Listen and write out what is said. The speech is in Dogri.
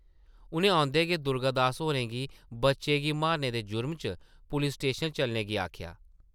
उʼनें औंदे गै दुर्गा दास होरें गी बच्चे गी मारने दे जुरम च पुलीस स्टेशन चलने गी आखेआ ।